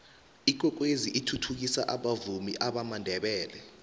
ikwekwezi ithuthukisa abavumi bamandebele